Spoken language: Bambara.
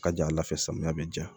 Ka ja ala fɛ samiya bɛ ja